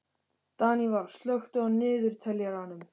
Daníval, slökktu á niðurteljaranum.